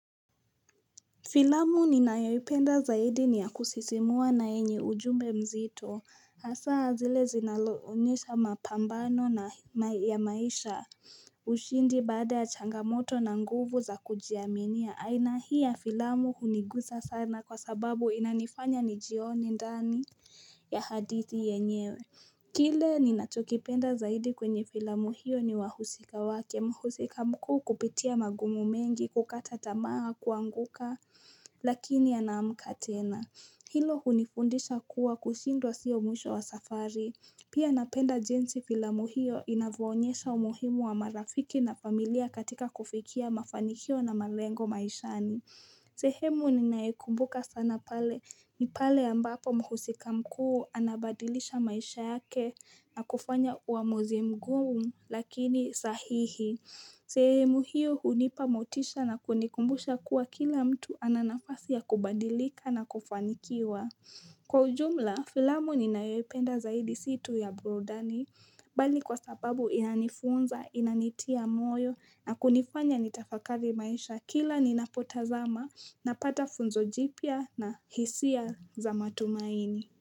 Filamu ninayoipenda zaidi niyakusisimua na yenye ujumbe mzito. Hasaa zile zinazo onyesha mapambano ya maisha ushindi baada ya changamoto na nguvu za kujiaminia. Aina hii ya filamu hunigusa sana kwa sababu inanifanya nijioni ndani ya hadithi yenyewe. Kile ninachokipenda zaidi kwenye filamu hiyo ni wahusika wake muhusika mkuu kupitia magumu mengi kukata tamaa kuanguka. Lakini anaamka tena. Hilo hunifundisha kuwa kushindwa sio mwisho wa safari. Pia napenda jinsi filamu hio inavyo onyesha umuhimu wa marafiki na familia katika kufikia mafanikio na malengo maishani. Sehemu ninayo ikumbuka sana pale ni pale ambapo mhusika mkuu anabadilisha maisha yake na kufanya uamuzi mgumu lakini sahihi. Sehemu hiyo hunipa motisha na kunikumbusha kuwa kila mtu ana nafasi ya kubadilika na kufanikiwa. Kwa ujumla, filamu ninayoipenda zaidi si tu ya burudani mbali kwa sababu inanifunza, inanitia moyo na kunifanya nitafakari maisha kila ninapotazama na pata funzo jipya na hisia za matumaini.